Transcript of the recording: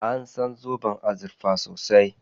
An san zoben azurfa sosai.